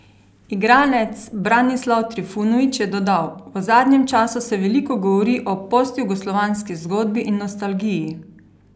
Igralec Branislav Trifunović je dodal: "V zadnjem času se veliko govori o postjugoslovanski zgodbi in nostalgiji.